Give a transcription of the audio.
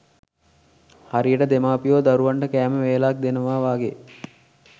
හරියට දෙමාපියෝ දරුවන්ට කෑමවේලක්‌ දෙනවා වගේ.